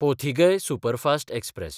Pothigai superfast express